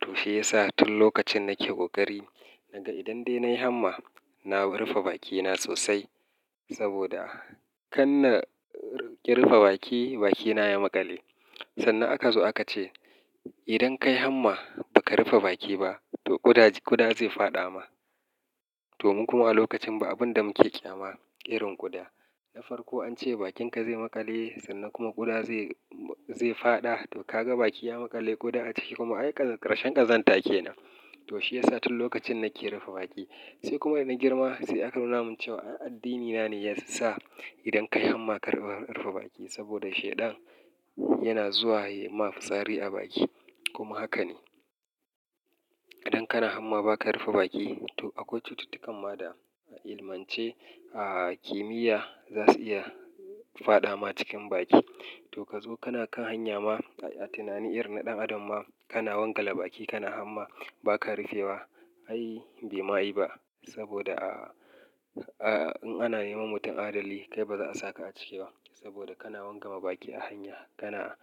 To shi ya sa tun lokacin nake ƙoƙari, naga idan dai na yi hamma, na rufe bakina sosai. Saboda kanna ƙi rufe baki, bakina ya maƙale. Sannan aka zo aka ce idan ka yi hamma ba ka rufe baki ba, to ƙuda zai fada ma. To mu kuma a lokacin ba abun da muke ƙyama irin ƙuda. Na farko an ce bakinka zai maƙale, sannan kuma ƙuda zai fada. To ka ga baki ya maƙale, ƙuda a ciki kuma. Ai ƙarshen ƙazanta kenan. To shi ya sa tun lokacin nake rufe baki. Sai kuma da na girma sai aka nuna min cewa addinina ne ya sa idan ka yi hamma ka rufe baki. Saboda shaiɗan yana zuwa yi ma fitsari a baki. Kuma haka ne. Idan kana hamma ba ka rufe baki, to akwai cututtukan ma da a ilmance a kimiyya za su iya fada ma cikin baki. To ka zo kana kan hanya ma a tunani irin na ɗan adam ma kana wangala baki kana hamma ba ka rufe wa. Ai bai ma yi ba. Saboda a in ana neman mutum adalli kai ba za a saka a ciki ba. Saboda kana wangale baki a hanya kana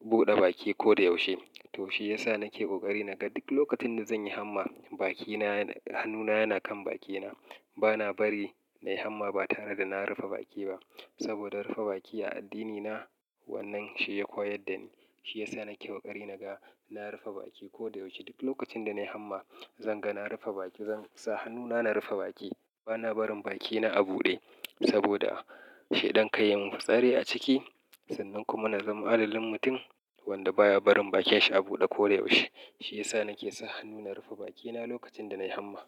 buɗe baki ko da yaushe. To shi ya sa nake ƙoƙari naga duk lokacin da zan yi hamma, hannuna yana kan bakina. Bana bari na yi hamma ba tare da na rufe baki ba. Saboda rufe baki a addinina wannan shi ya koyar da ni. Shi ya sa nake ƙoƙari naga na rufe baki ko da yaushe. Duk lokacin da na yi hamma, zan ga na rufe baki. Zan sa hannuna na rufe baki. Bana barin bakina a buɗe. Saboda shaidan ka yi min fitsari a ciki sannan kuma na zama alalin mutum wanda baya barin bakinshi a buɗe ko da yaushe. Shi ya sa nake sa hannuna rufe bakina lokacin da na yi hamma.